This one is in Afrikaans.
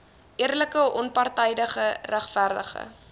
eerlike onpartydige regverdige